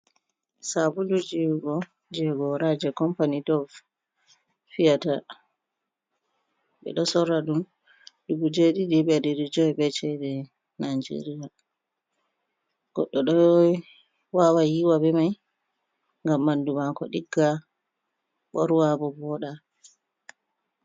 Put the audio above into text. Sabulu yiwugo jei gora, jei kampani dov fiyata. Ɓe ɗo sorra ɗum dubu jeɗiɗi be ɗari joi be cede Najeria. Goɗɗo ɗo wawa yiwa be mai ngam ɓandu maako ɗigga, ɓorwa bo vooɗa.